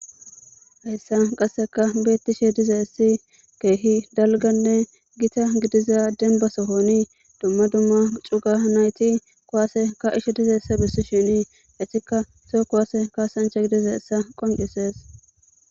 Haysan qaseka betizaysi keeh dalga gitta gidida sohoni dumma dumma cugan nayt kuwase ka'ishe dizaysa besishn etika toho kuwase kasancha gididaysa qoncises.